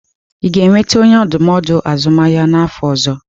Ị ga-enweta onye ndụmọdụ azụmahịa n'afọ ọzọ?